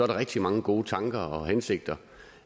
rigtig mange gode tanker og hensigter